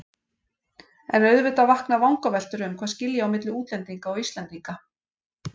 En auðvitað vakna vangaveltur um hvað skilji á milli útlendinga og Íslendinga.